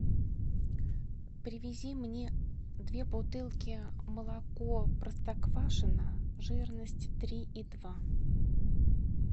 привези мне две бутылки молоко простоквашино жирность три и два